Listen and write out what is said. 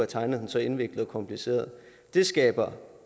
tegnet så indviklet og kompliceret det skaber